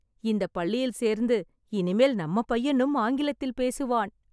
இந்தப் பள்ளியில் சேர்ந்து, இனிமேல் நம்ம பையனும் ஆங்கிலத்தில் பேசுவான்